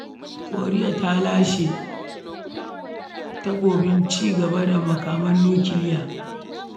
Koriya ta Arewa ta lashi takobin cigaba da ƙera makaman nukiliya.